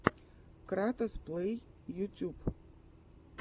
кратос плэй ютюб